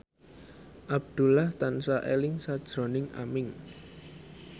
Abdullah tansah eling sakjroning Aming